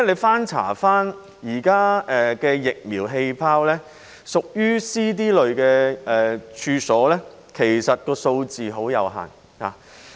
翻查現時的"疫苗氣泡"資料，屬於 C、D 類餐飲處所的數字其實很有限。